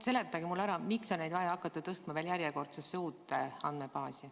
Seletage mulle ära, miks on vaja hakata neid tõstma järjekordsesse andmebaasi.